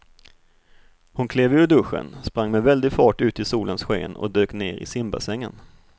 Hon klev ur duschen, sprang med väldig fart ut i solens sken och dök ner i simbassängen.